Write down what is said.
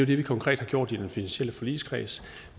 det vi konkret har gjort i den finansielle forligskreds